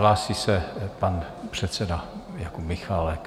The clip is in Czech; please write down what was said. Hlásí se pan předseda Jakub Michálek.